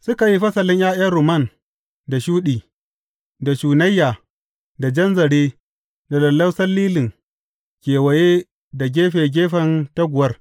Suka yi fasalin ’ya’yan rumman da shuɗi, da shunayya, da jan zare, da lallausan lilin kewaye da gefe gefen taguwar.